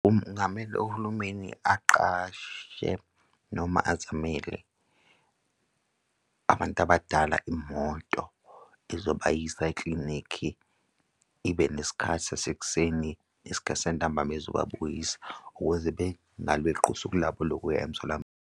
Kungamele uhulumeni aqashe noma azamele abantu abadala imoto ezobayisa ikilinikhi ibe nesikhathi sasekuseni nesikhathi santambama ezobabuyisa ukuze bengalweqi usuku lokuya emtholampilo.